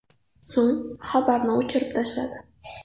So‘ng xabarni o‘chirib tashladi.